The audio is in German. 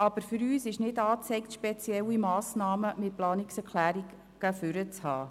Aber für uns ist es nicht angezeigt, spezielle Massnahmen mit Planungserklärungen in den Vordergrund zu rücken.